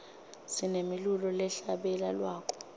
sinemilulo lehla bele lwako